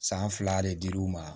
San fila de dir'u ma